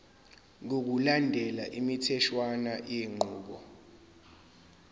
ngokulandela imitheshwana yenqubo